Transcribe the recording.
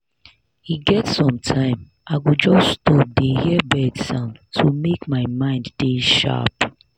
e get sometime i go just stop dey hear bird sound to make my mind dey sharp.